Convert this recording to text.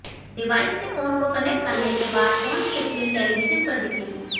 डिवायस से फोन को कनेक्ट करने के बाद फोन की सक्रीन टेलिविजन पर दिखेगी